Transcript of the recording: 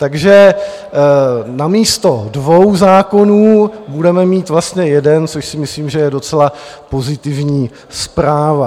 Takže namísto dvou zákonů budeme mít vlastně jeden, což si myslím, že je docela pozitivní zpráva.